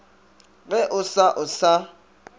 ge o sa o sa